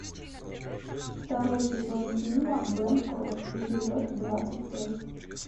второй сезон фильма бэнкрофт эпизод двадцать пять